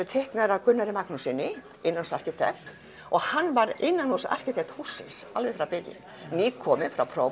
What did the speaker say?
teiknaðir af Gunnari Magnússyni innanhúsarkitekt og hann var innanhúsarkitekt hússins alveg frá byrjun nýkominn frá